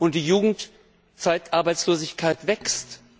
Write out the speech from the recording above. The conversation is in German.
Und die Jugendarbeitslosigkeit wächst.